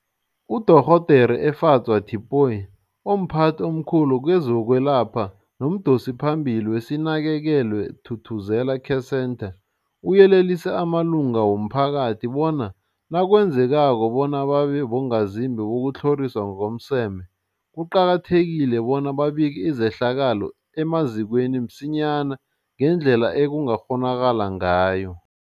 UDorh Efadzwa Tipoy, omphathi omkhulu kezokwelapha nomdosiphambili weSinakekelwe Thuthuzela Care Centre, uyelelise amalunga womphakathi bona nakwenzekako bona babe bongazimbi bokutlhoriswa ngokomseme, kuqakathekile bona babike izehlakalo emazikweni msinyana ngendlela ekungakghonakala ngayo.